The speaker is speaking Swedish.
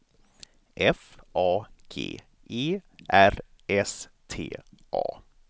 F A G E R S T A